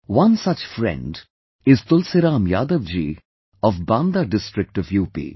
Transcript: One such friend is Tulsiram Yadav ji of Banda district of UP